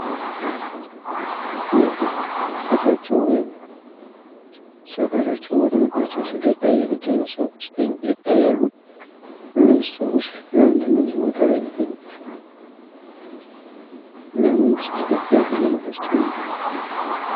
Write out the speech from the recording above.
እነዚህ ቤታቸው ወይም ሰፈራቸው ተወሮባቸው ስደት ላይ የሚገኙ ሰዎች ተኝተው ይታያሉ። እነዚህ ሰዎች ለምነው እዚህ ቦታ ላይ የተኙት? እና መንግስትስ መፍትሄ አይፈልጋቸውምዴ?